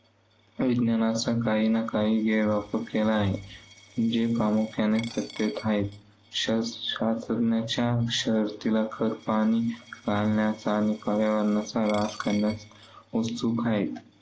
विज्ञानाचा काही ना काही गैरवापर केला आहे. जे प्रामुख्याने सत्तेत आहेत, शशास्त्रज्ञांच्या खतपाणी घालण्याचा आणि पर्यावरणाचा ऱ्हास करण्यात उत्सुक आहेत.